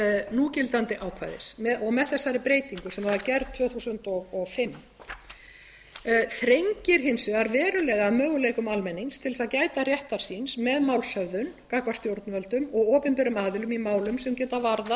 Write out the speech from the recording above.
núgildandi ákvæðis og með þessari breytingu sem var gerð tvö þúsund og fimm þrengir hins vegar verulega að möguleikum almennings til að gæta réttar síns með málshöfðun gagnvart stjórnvöldum og opinberum aðilum í málum sem geta varðað